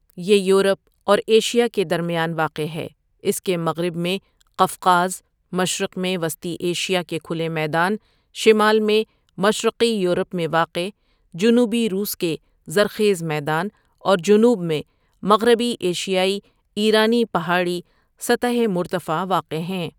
یہ یورپ اور ایشیا کے درمیان واقع ہے اس کے مغرب میں قفقاز، مشرق میں وسطی ایشیا کے کھلے میدان، شمال میں مشرقی یورپ میں واقع جنوبی روس کے زرخیز میدان اور جنوب میں مغربی ایشیائی ایرانی پہاڑی سطح مرتفع واقع ہیں ۔